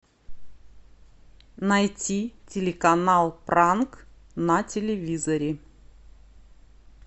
найти телеканал пранк на телевизоре